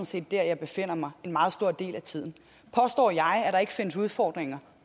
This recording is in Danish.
set der jeg befinder mig en meget stor del af tiden påstår jeg at der ikke findes udfordringer